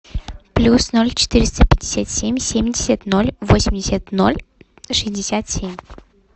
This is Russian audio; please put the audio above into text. плюс ноль четыреста пятьдесят семь семьдесят ноль восемьдесят ноль шестьдесят семь